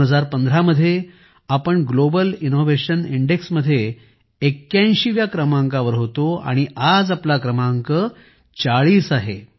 2015 मध्ये आम्ही global innovation इंडेक्समध्ये 81 व्या क्रमांकावर होतो आज आमचा क्रमांक 40 आहे